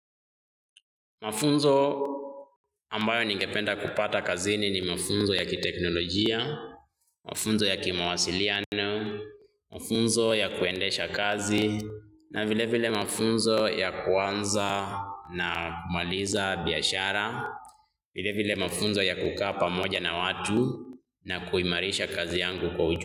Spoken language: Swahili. Mafunzo ambayo ningependa kupata kazini ni mafunzo ya kiteknolojia, mafunzo ya kimawasiliano, mafunzo ya kuendesha kazi, na vile vile mafunzo ya kuanza na kumaliza biashara, vile vile mafunzo ya kukapa moja na watu na kuimarisha kazi yangu kwa ujumla.